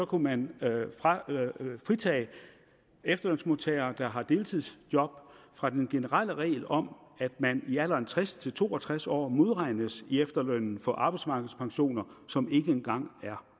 kunne man fritage efterlønsmodtagere der har deltidsjob fra den generelle regel om at man i alderen tres til to og tres år modregnes i efterlønnen for arbejdsmarkedspensioner som ikke engang er